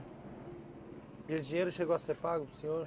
E esse dinheiro chegou a ser pago para o senhor?